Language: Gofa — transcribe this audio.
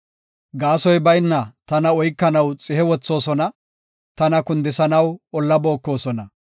Gaasoy bayna tana oykanaw xihe wothoosona; tana kundisanaw olla bookosona.